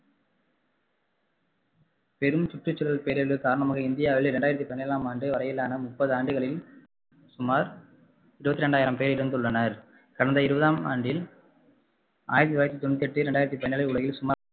பெரும் சுற்றுசூழல் பேரழிவு காரணமாக இந்தியாவில் இரண்டாயிரத்து பதினேழாம் ஆண்டு வரையிலான முப்பது ஆண்டுகளில் சுமார் இருபத்து இரண்டாயிரம் பேர் இறந்துள்ளனர் கடந்த இருபதாம் ஆண்டில் ஆயிரத்து தொள்ளாயிரத்து தொண்ணூத்தி எட்டு இரண்டாயிரத்து பதினேழில் உலகில் சுமார்